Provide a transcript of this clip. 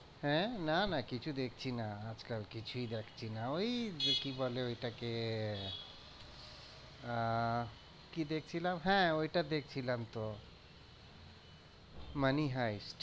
আঁ না না কিছু দেখছি না আজ কাল কিছুই দেখছি না ওই কি বলে ওইটাকে আহ কি দেখছিলাম হ্যাঁ ওইটা দেখছিলাম তো money heist